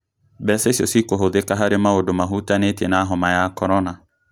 Mbeca icio cukũhũthĩka harĩ maundũ mahutanĩtie na homa ya korona